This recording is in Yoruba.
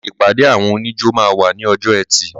Ṣé ìpàdé àwọn oníjó máa wà ní ọjọ́ ẹtì?